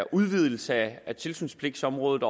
udvidelse af tilsynspligtsområdet